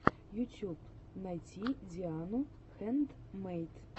ютьюб найти диану хэндмэйд